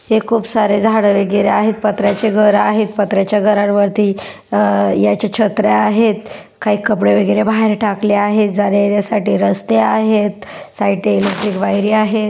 हे खूप सारे झाडे वगैरे आहेत पत्राचे घर आहेत पत्राच्या घरां वरती अ याच्या छत्र्या आहेत काही कपडे वगैरे बाहेर टाकलेले आहे जाण्यायेण्या साठी रस्ते आहेत साइड ने इलेक्ट्रिक वायरी आहे.